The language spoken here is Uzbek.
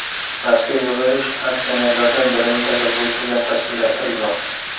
Mazkur yig‘ilish aksionerlardan birining tashabbusi bilan tashkillashtirilmoqda.